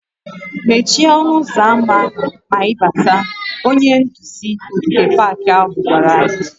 "Mechie ọnụ ụzọ ámá ma ị bátá" Onye nduzi ogige pak ahụ gwara anyị":